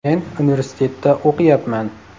Men universitetda o‘qiyapman.